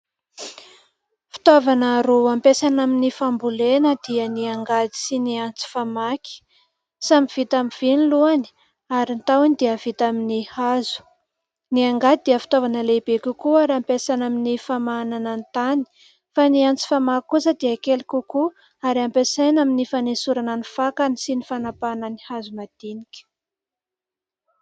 Fitaovana roa ampiasaina amin'ny fambolena dia ny angady sy ny antsy famaky. Samy vita amin'ny vy ny lohany ary ny tahoany dia vita amin'ny hazo. Ny angady dia fitaovana lehibe kokoa ary ampiasaina amin'ny famahanana ny tany, fa ny antsy famaky kosa dia kely kokoa ary ampiasaina amin'ny fanesorana ny fakany sy ny fanampahana ny hazo madinika.